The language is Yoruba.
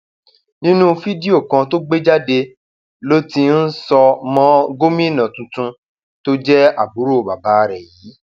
nínú fídíò kan tó gbé jáde ló um ti ń sọ mọ gómìnà tuntun um tó jẹ àbúrò bàbá rẹ yìí